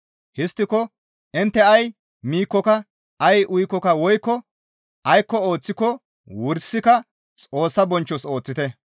Histtiko intte ay miikkoka, ay uyikkoka woykko aykko ooththiko wursika Xoossa bonchchos ooththite.